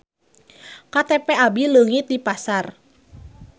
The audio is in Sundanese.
KTP abi leungit di pasar